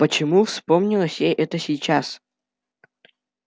почему вспомнилось ей это сейчас